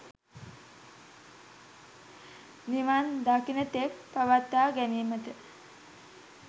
නිවන් දකින තෙක් පවත්වා ගැනීමට